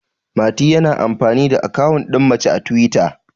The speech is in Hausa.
mati yana amfani da akawun din mace a twita